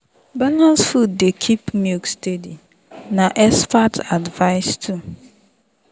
balanced food dey keep milk steady na expert advice too.